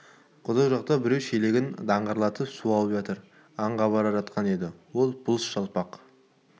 құдық жақта біреу шелегін даңғырлатып су алып жатыр аңға бара жатқан еді ол бұлыш жалпақ